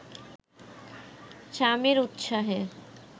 স্বামীর উৎসাহে